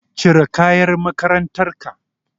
Cire kayan makarantar ka.